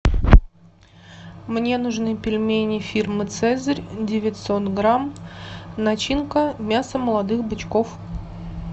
мне нужны пельмени фирмы цезарь девятьсот грамм начинка мясо молодых бычков